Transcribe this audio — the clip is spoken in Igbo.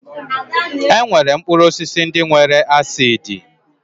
E nwere mkpụrụ osisi ndị nwere acidi